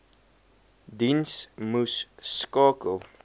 diens moes skakel